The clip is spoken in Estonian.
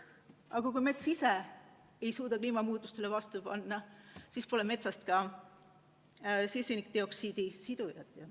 Aga kui mets ise ei suuda kliimamuutustele vastu panna, siis pole metsast ka süsinikdioksiidi sidujat.